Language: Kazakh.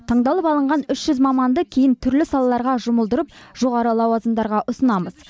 таңдалып алынған үш жүз маманды кейін түрлі салаларға жұмылдырып жоғары лауазымдарға ұсынамыз